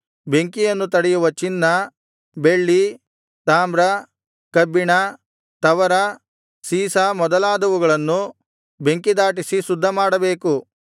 ಬೆಂಕಿಯನ್ನು ತಡೆಯುವ ಚಿನ್ನ ಬೆಳ್ಳಿ ತಾಮ್ರ ಕಬ್ಬಿಣ ತವರ ಸೀಸ ಮೊದಲಾದವುಗಳನ್ನು ಬೆಂಕಿದಾಟಿಸಿ ಶುದ್ಧಮಾಡಬೇಕು